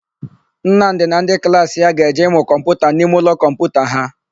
Nnamdị na ndị klaasị ya ga-eje ịmụ kọmputa n'imeụlọ kọmputa ha.